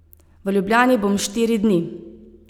V Ljubljani bom štiri dni.